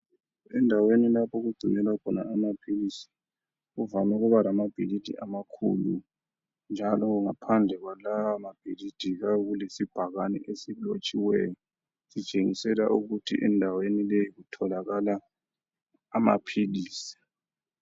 Endaweni lapho okugcinelwa khona amaphilisi kuvame ukuba lamabhilidi amakhulu njalo ngaphandle kwalawa mabhilidi kuyabe kulesibhakane esilotshiweyo sitshengisela ukuthi endaweni leyi kutholakala amaphilizi.